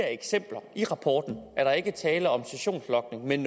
eksempler i rapporten ikke er tale om sessionslogning men